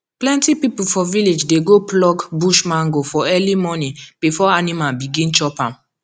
plenty people for village dey go pluck bush mango for early morning before animal begin chop am